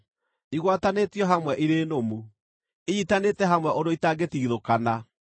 Igwatanĩtio hamwe irĩ nũmu; inyiitanĩte hamwe ũndũ itangĩtigithũkana.